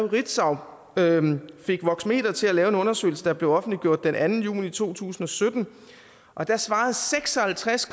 ritzau voxmeter til at lave en undersøgelse der blev offentliggjort den anden juni to tusind og sytten og der svarede seks og halvtreds